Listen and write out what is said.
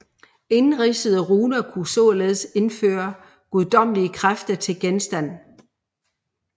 Indridsede runer kunne således tilføre guddommelige kræfter til genstand